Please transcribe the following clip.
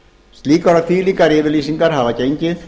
slíkar og þvílíkar yfirlýsingar hafa gengið